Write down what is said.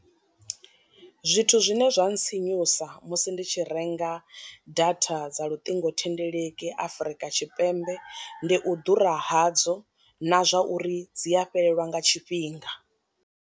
Zwithu zwine zwa ntsinyusa musi ndi tshi renga data dza luṱingothendeleki afrika tshipembe ndi u ḓura hadzo na zwa uri dzi a fhelelwa nga tshifhinga.